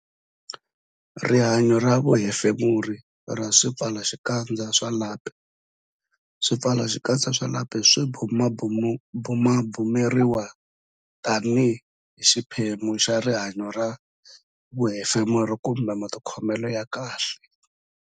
Rihanyo ra vuhefemuri ra swipfalaxikandza swa lapi Swipfalaxikandza swa lapi swi bumabumeriwa tanihi xiphemu xa rihanyo ra vuhefemuri kumbe matikhomelo ya kahle.